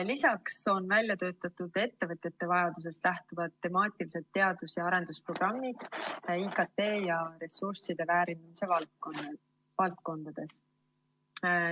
Lisaks on välja töötatud ettevõtjate vajadusest lähtuvad temaatilised teadus‑ ja arendusprogrammid IKT ja ressursside väärindamise valdkondades.